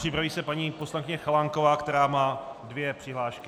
Připraví se paní poslankyně Chalánková, která má dvě přihlášky.